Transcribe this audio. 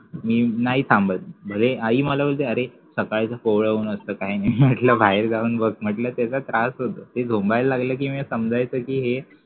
तर मी नाय थांबत भले आई मला बोलत अरे सकाळचं कोवळं ऊन असतं काही नाही म्हंटलं बाहेर जाऊन बघ म्हंटलं त्याचा त्रास होतो ते झोंब्याला लागलं कि मग समझ्याचं कि हे